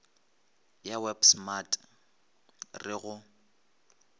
ya web smart re go